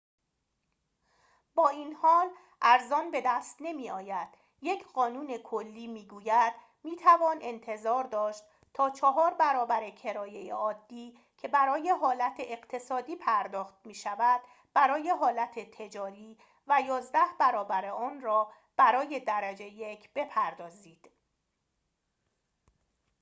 با این حال ارزان بدست نمی‌آید یک قانون کلی می‌گوید می‌توان انتظار داشت تا چهار برابر کرایه عادی که برای حالت اقتصادی پرداخت می‌شود برای حالت تجاری و یازده برابر آن را برای درجه یک بپردازید